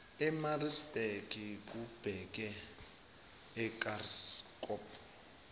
emaritzburg lubheke ekranskop